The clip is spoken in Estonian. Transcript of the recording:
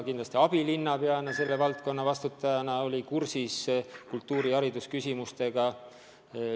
Ka abilinnapeana oli ta selle valdkonna eest vastutajana kultuuri- ja haridusküsimustega kursis.